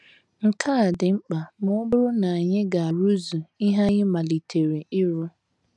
Nke a dị mkpa ma ọ bụrụ na anyị ga - arụzu ihe anyị malitere ịrụ.